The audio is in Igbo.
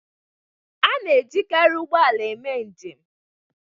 A na-ejikarị ụgbọ ala eme njem